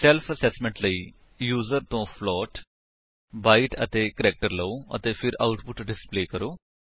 self assessment ਲਈ user ਤੋ float byte ਅਤੇ ਕੈਰੇਕਟਰ ਲਓ ਅਤੇ ਫਿਰ ਆਉਟਪੁਟ ਡਿਸਪਲੇ ਕਰੋ